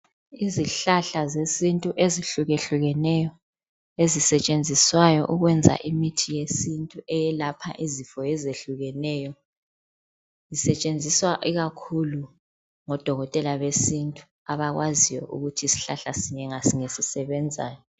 Izihlahla zesintu ezihlukehlukeneyo, esisentshenziswayo ukwenza imithi yesintu eyehlukeneyo eyelapha izifo ezihlukehlukeneyo. Zisentshenziswa ikakhulu ngodokotela besintu abakwaziyo ukuthi isihlahla sinye ngasinye sisebenzani.